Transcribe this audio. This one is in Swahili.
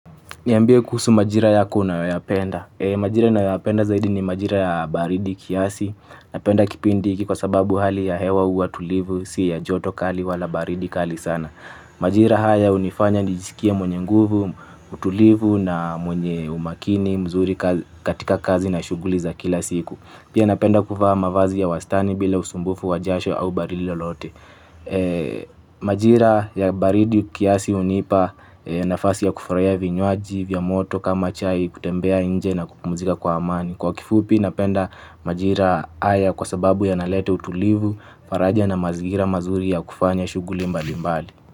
Niambie kuhusu majira yako unayoyapenda. Majira nayoyapenda zaidi ni majira ya baridi kiasi. Napenda kipindi hiki kwa sababu hali ya hewa huwa tulivu, si ya joto kali wala baridi kali sana. Majira haya hunifanya nijisikie mwenye nguvu, utulivu na mwenye umakini, mzuri katika kazi na shughuli za kila siku. Pia napenda kuvaa mavazi ya wastani bila usumbufu wa jasho au baridi lolote. Majira ya baridi kiasi hunipa nafasi ya kufurahia vinywaji vya moto kama chai kutembea nje na kupumzika kwa amani. Kwa kifupi napenda majira haya kwa sababu ya nalete utulivu faraja na mazingira mazuri ya kufanya shughuli mbalimbali.